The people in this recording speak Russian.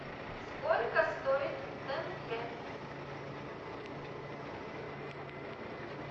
сколько стоит тенге